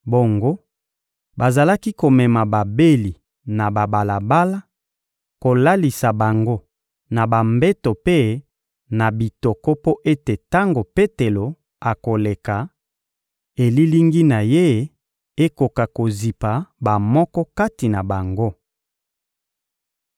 Bongo, bazalaki komema babeli na babalabala, kolalisa bango na bambeto mpe na bitoko mpo ete tango Petelo akoleka, elilingi na ye ekoka kozipa bamoko kati na bango.